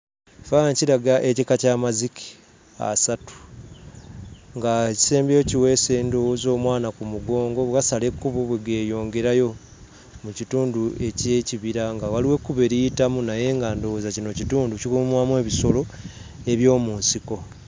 Ekifaananyi kiraga ekika ky'amazike asatu, ng'ekisembyeyo kiweese ndowooza omwana ku mugongo; bwe gasala ekkubo bwe geeyongerayo mu kitundu eky'ekibira; nga waliwo ekkubo eriyitamu naye nga ndowooza kino kitundu ekikuumwamu ebisolo eby'omu nsiko.